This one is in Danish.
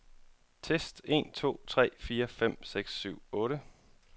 Tester en to tre fire fem seks syv otte.